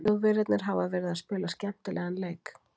Þjóðverjarnir hafa verið að spila skemmtilegan fótbolta.